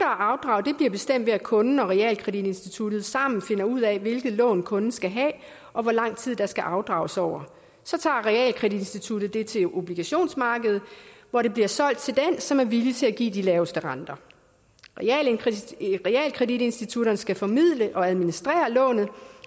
afdrag bliver bestemt ved at kunden og realkreditinstituttet sammen finder ud af hvilket lån kunden skal have og hvor lang tid der skal afdrages over så tager realkreditinstituttet det til obligationsmarkedet hvor det bliver solgt til den som er villig til at give de laveste renter realkreditinstitutterne skal formidle og administrere lånet